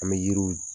An bɛ yiriw